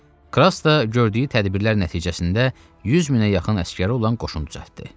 Kras da gördüyü tədbirlər nəticəsində 100000-ə yaxın əsəri olan qoşun düzəltdi.